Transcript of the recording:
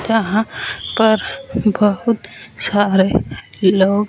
जहां पर बहुत सारे लो--